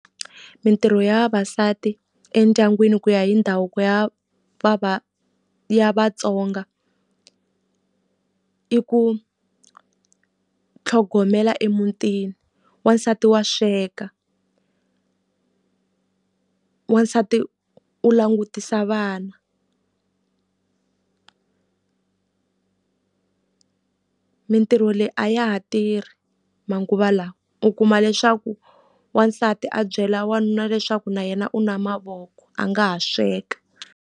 Mitirho ya vavasati endyangwini ku ya hi ndhavuko ya ya Vatsonga, i ku tlhogomela emutini. Wasati wa sweka, wasati u langutisa vana Mitirho leyi a ya ha tirhi manguva lawa. U kuma leswaku wasati a byela wanuna leswaku na yena u na mavoko a nga ha sweka.